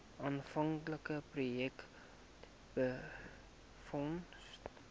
aanvanklike projek befonds